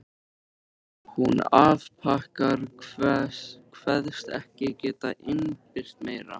Hún afþakkar, kveðst ekki geta innbyrt meira.